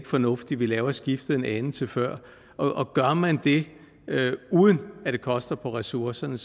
fornuftigt at lave skiftet en anelse før og gør man det uden at det koster på ressourcerne